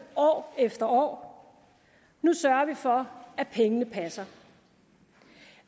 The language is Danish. år efter år nu sørger vi for at pengene passer